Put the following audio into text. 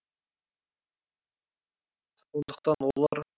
сондықтан олар